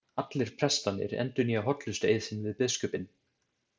Allir prestarnir endurnýja hollustueið sinn við biskupinn.